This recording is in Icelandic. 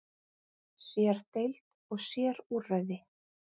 Sér-deild og sér-úrræði.